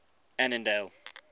annandale